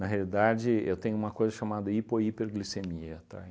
Na realidade, eu tenho uma coisa chamada hipo e hiperglicemia, tá?